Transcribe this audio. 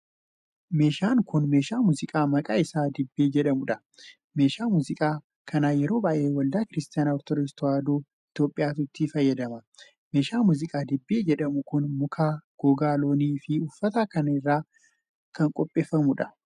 Meeshaan kun, meeshaa muuziqaa maqaan isaa dibbee jedhamudha. Meeshaa muuziqaa kana yeroo baay'ee waldaa Kiristaanaa Ortoodoksii Tawaahidoo Itoophiyaatu itti fayyadama. Meeshaan muuziqaa dibbee jedhamu kun muka ,gogaa loonii fi uffata irraa qopheeffama.